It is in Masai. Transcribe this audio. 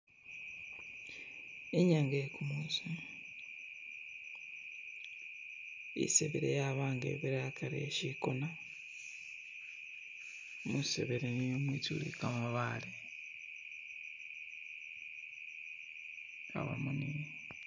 Inyanga ye gumusi isebere yabanga ibirila hagari he chigona mwisebere mwizule ga mabaale abamo ni.